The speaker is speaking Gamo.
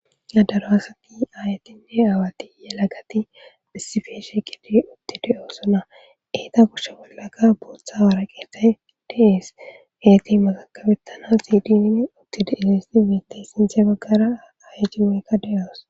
adaro asati ayatinne awatiye lagati bhisifeshe kidi otti de7oosona eeta kushshe bollaka bootha waraqeethay dees heeti maxakabettana siidinine ottide esisi miitay sinte baggara ayejimoykka de7oos